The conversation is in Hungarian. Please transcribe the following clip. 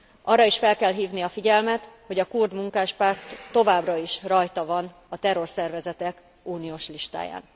Arra is fel kell hívni a figyelmet, hogy a kurd munkáspárt továbbra is rajta van a terrorszervezetek uniós listáján.